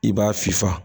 I b'a fifa